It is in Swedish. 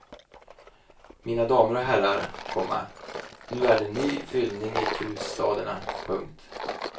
Mina damer och herrar, komma nu är det ny fyllning i krustaderna. punkt